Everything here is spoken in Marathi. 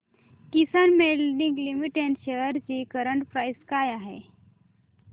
किसान मोल्डिंग लिमिटेड शेअर्स ची करंट प्राइस काय आहे